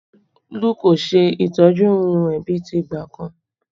Olú kò ṣe ìtọ́jú irun rẹ mọ bí ti ìgbà kan